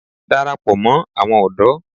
Darapọ̀ mọ́ àwọn ọ̀dọ́!